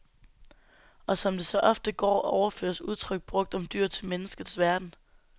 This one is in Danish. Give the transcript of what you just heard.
Og som det så ofte går, overføres udtryk brugt om dyr til menneskets verden.